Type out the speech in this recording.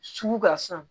Sugu ka san